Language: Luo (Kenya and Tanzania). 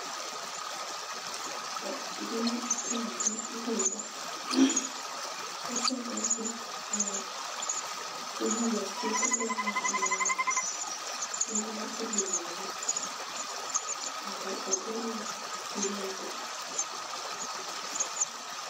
Gini itiyogo, irege, koserege to inyalo fitgo n'gatma ume odinore mondo ogol chilo go